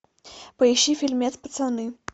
поищи фильмец пацаны